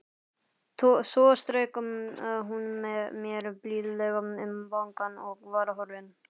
Svo strauk hún mér blíðlega um vangann og var horfin.